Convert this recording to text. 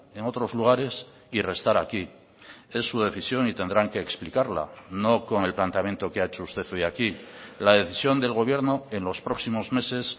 en otros lugares y restar aquí es su decisión y tendrán que explicarla no con el planteamiento que ha hecho usted hoy aquí la decisión del gobierno en los próximos meses